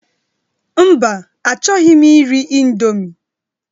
Mba, achọghị m iri indomie